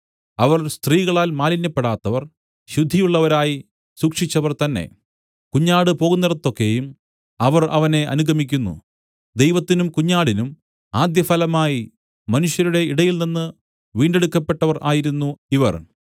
അവർ സ്ത്രീകളാൽ മാലിന്യപ്പെടാത്തവർ ശുദ്ധിയുള്ളവരായി സൂക്ഷിച്ചവർ തന്നെ കുഞ്ഞാട് പോകുന്നേടത്തൊക്കെയും അവർ അവനെ അനുഗമിക്കുന്നു ദൈവത്തിനും കുഞ്ഞാടിനും ആദ്യഫലമായി മനുഷ്യരുടെ ഇടയിൽനിന്ന് വീണ്ടെടുക്കപ്പെട്ടവർ ആയിരുന്നു ഇവർ